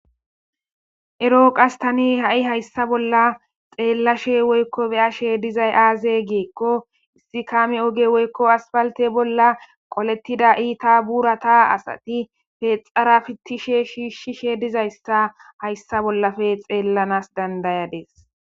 eroo qas tani ha7i hayssa bolla xeellashe woykko beyashe dizay aaze geekko issi kaami oge woykko aspalte bolla qolettida iita buurata asati peexara fittishe shiishshishe dizayssa hayssa bollafe xeellanas dandayades